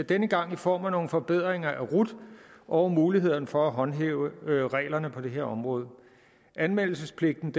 denne gang i form af nogle forbedringer af rut og muligheden for at håndhæve reglerne på det her område anmeldelsespligten